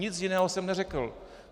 Nic jiného jsem neřekl.